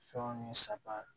Fɛnw ni saga